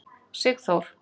Sigþór